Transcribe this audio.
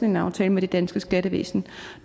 en aftale med det danske skattevæsen